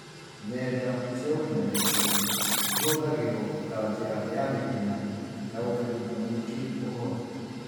Nenda cia ukinyanĩria cihũthagĩrwo ta njĩra ya naihenya ya gũkinyĩria mũingi ũhoro